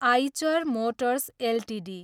Eicher motors Ltd